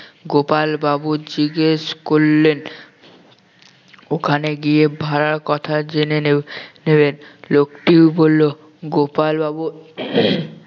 গোপাল বাবু জিজ্ঞেস করলেন ওখানে গিয়ে ভাড়ার কথা জেনে নেবে~ নেবেন লোকটি বললো গোপাল বাবু